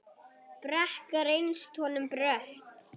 Brekka reynst honum brött.